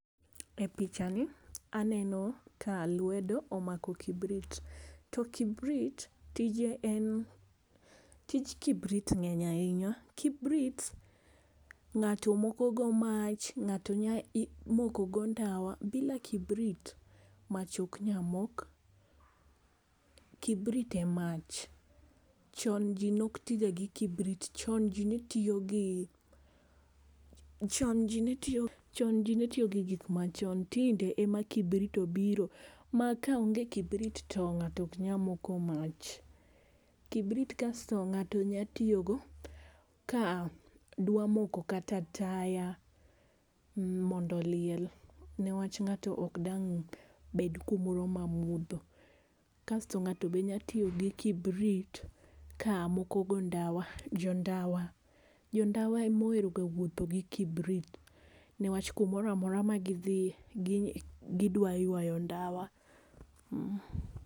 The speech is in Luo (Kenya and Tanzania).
E pichani aneno ka lwedo omako kibrit to kibrit, tije en tich kibrit ng'eny ahinya, ng'ato moko go mach, ng'ato nya moko go ndawa, bila kibrit ng'ato mach ok nya mok, kibrit e mach. Chon ji ne ok ti ga kibrit, chon ji ne tiyo gi, chon ji netiyo gi gik ma chon tinde e ma kibrit obiro ma ka onge kibrit to ng'ato ok nya moko mach. Kibrit kasto ngato nya tiyo go ka dwa moko kata taya mondo oliel ne wach ng'ato ok dang' bed kum moro ma mudho. Kasto ng'ato be nya tiyo gi kibrit ka moko go ndawa, jo ndawa em ohero ga wuotho gi kibrit, ne wach ku moro amora bma gi dhie gi dwa ywayo ndawa.